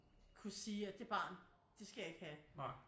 Kunne sige at det barn det skal jeg ikke have